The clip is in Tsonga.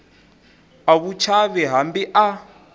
a wu chavi hambi a